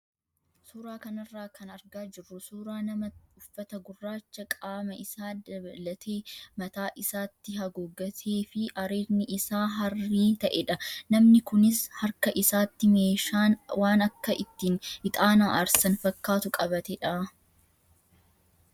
Suuraa kanarraa kan argaa jirru suuraa nama uffata gurraacha qaama isaa dabalatee mataa isaatti haguuggatee fi areedni isaa harrii ta'edha. Namni kunis harka isaatti meeshaan waan akka ittiin ixaana aarsan fakkaatu qabatedha.